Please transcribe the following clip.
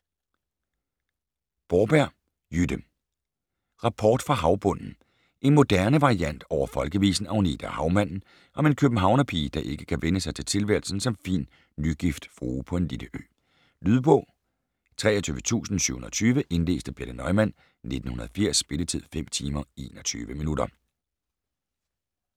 Borberg, Jytte: Rapport fra havbunden En moderne variant over folkevisen "Agnete og havmanden" om en københavnerpige, der ikke kan vænne sig til tilværelsen som fin, nygift frue på en lille ø. Lydbog 23720 Indlæst af Birthe Neumann, 1980. Spilletid: 5 timer, 21 minutter.